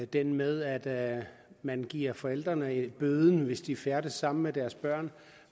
den med at man giver forældrene bøden hvis de færdes sammen med deres børn